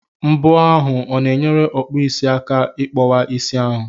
Mbọ ahụ o na-enyere ọkpụisi aka ị kpọwa isi ahụ?